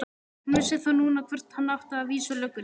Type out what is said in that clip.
Hann vissi þá núna hvert hann átti að vísa löggunni!